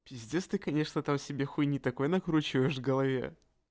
пиздец ты конечно там себе хуйне такое накручиваешь в голове